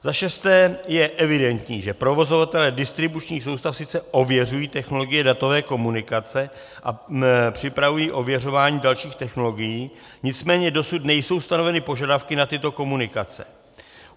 Za šesté je evidentní, že provozovatelé distribučních soustav sice ověřují technologie datové komunikace a připravují ověřování dalších technologií, nicméně dosud nejsou stanoveny požadavky na tyto komunikace.